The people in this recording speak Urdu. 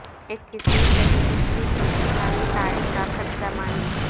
اکیسویں صدی عیسوی کی اسلامی تاریخ کا خط زمانی